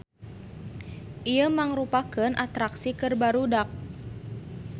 Ieu mangrupakeun atraksi keur barudak.